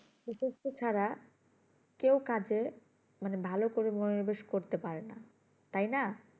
উপস্ত ছাড়া কেও কাজে মানে ভালোকরে মনোরোবেস করতে পারে না তাই না